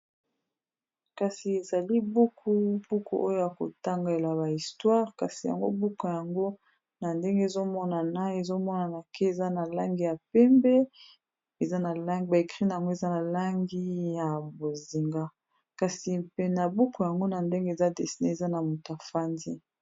Kasi ezali buku, buku oyo a kotangela ba histoire kasi yango buku yango na ndenge ezomonana, ezomonana ke eza na langi ya pembe eza ba écrit na yango eza na langi ya bozinga kasi pena buku yango na ndenge eza dissine eza na mutu afandi.